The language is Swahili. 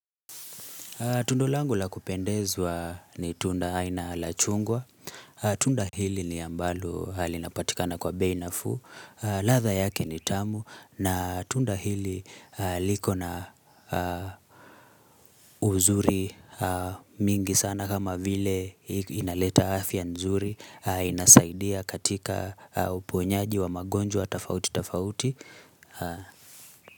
Tundolangu la kupendezwa ni tunda aina la chungwa. Tunda hili ni ambalo linapatikana kwa bei nafuu. Ladha yake ni tamu na tunda hili liko na uzuri mingi sana kama vile inaleta afya nzuri. Inasaidia katika uponyaji wa magonjwa tafauti tafauti.